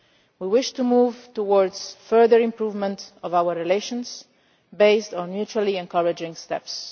We wish to move towards a further improvement in our relations, based on mutually encouraging steps.